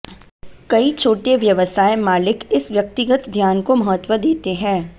कई छोटे व्यवसाय मालिक इस व्यक्तिगत ध्यान को महत्व देते हैं